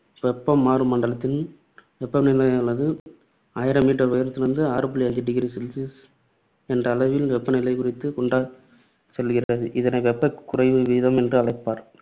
வெப்பம் மாறும் மண்டலத்தில், வெப்பநிலையானது ஆயிரம் meter உயரத்திற்கு ஆறு புள்ளி அஞ்சு degree celsius என்ற அளவில் வெப்பநிலை குறைந்து கொண்டே செல்கிறது. இதனை வெப்ப குறைவு வீதம் என்று அழைப்பர்.